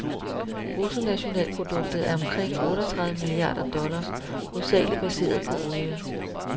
Bruttonationalproduktet er omkring otteogtredive milliarder dollars, hovedsagelig baseret på olie.